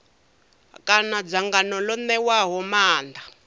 kana dzangano ḽo ṋewaho maanḓa